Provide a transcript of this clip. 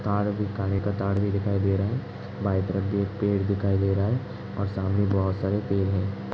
का तार भी दिखाई दे रहा है। बाइक रखी है पेड़ भी दिखाई दे रहा है और सामने बहुत सारे पेड़ हैं।